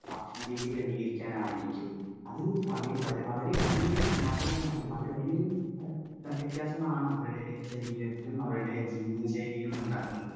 Speaker 1 ഭക്ഷണരീതി ക്രമീകരിക്കാൻ ആയിരിക്കും. അത് വളരെ വലിയ ഒരു മാറ്റം തന്നെയാണ്. അത് വലിയൊരു വ്യത്യാസമാണ് അവരുടെ ശരീരത്തിലും, അവരുടെ ജീവിതശൈലിയിലും ഉണ്ടാക്കുന്നത്.